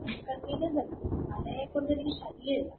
Discontinuous അല്ല.മഴയെ കൊണ്ടെനിക്ക് ശല്യമില്ല.